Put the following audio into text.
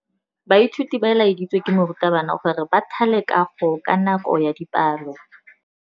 Baithuti ba laeditswe ke morutabana gore ba thale kagô ka nako ya dipalô.